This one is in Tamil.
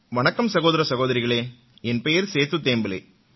வணக்கம் சகோதர சகோதரிகளே என் பேர் சேது தேம்பேலே